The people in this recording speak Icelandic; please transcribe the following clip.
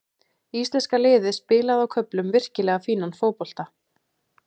Íslenska liðið spilaði á köflum virkilega fínan fótbolta.